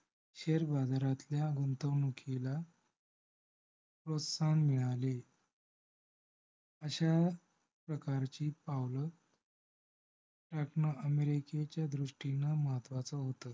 share बाजारतल्या गुंतवणुकीला प्रोत्साहन मिळाले. अश्या प्रकारची पाऊल टाकणे america च्या दृष्टीने महत्वच होत.